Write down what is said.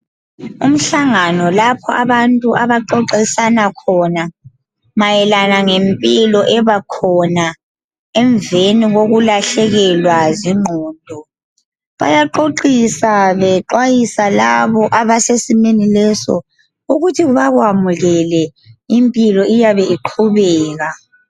Umhlangano lapho abantu abaxoxisana khona mayelana ngempilo ebakhona emveni kokulahlekelwa zingqondo bayaxoxisa bexwayisa labo abasesimeni leso ukuthi bakwamukele impilo iyabe iqhubeka.